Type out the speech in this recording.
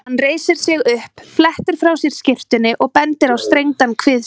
Hann reisir sig upp, flettir frá sér skyrtunni og bendir á strengdan kvið sér.